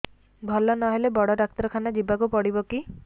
ଭଲ ନହେଲେ ବଡ ଡାକ୍ତର ଖାନା ଯିବା କୁ ପଡିବକି